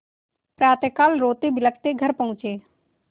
प्रातःकाल रोतेबिलखते घर पहुँचे